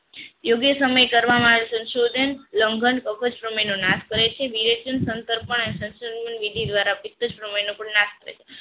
every સમય કરવામાં આવેલા સંશોધન લંબઘન આપવા જ બ્રાહ્મણનો નાશ કરે છે વિવેચન સંકલ્પ વિધિ દ્વારા કુલ નાશ થાય છે